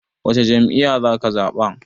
Wacce jam'iyya zaka zaɓa?